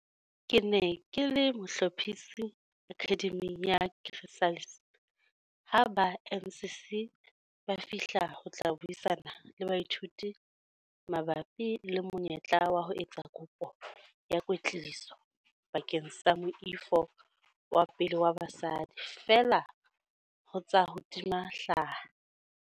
Ke ne ke le mohlophisi Akhademing ya Chrysalis ha ba NCC ba fihla ho tla buisana le baithuti mabapi le monyetla wa ho etsa kopo ya kwetliso bakeng sa moifo wa pele wa basadi feela ho tsa ho tima hlaha.